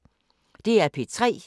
DR P3